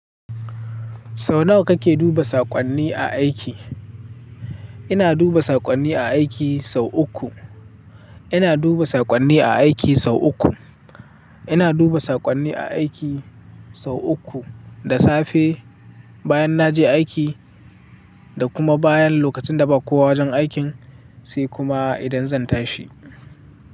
Sau nawa kake duba saƙonni a aiki? Ina duba saƙonni a aiki sau uku. Ina duba saƙonni a aiki sau uku. Ina duba saƙonni a aiki sau uku, da safe, bayan na je aiki da kuma bayan lokacin da ba kowa wajen aikin, sai kuma idan zan tashi.